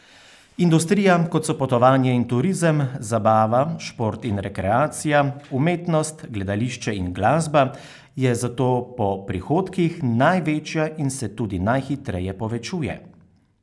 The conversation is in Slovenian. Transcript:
Industrija, kot so potovanje in turizem, zabava, šport in rekreacija, umetnost, gledališče in glasba, je zato po prihodkih največja in se tudi najhitreje povečuje.